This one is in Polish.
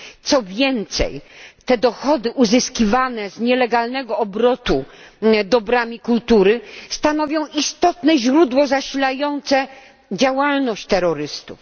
Co więcej, te dochody uzyskiwane z nielegalnego obrotu dobrami kultury stanowią istotne źródło zasilające działalność terrorystów.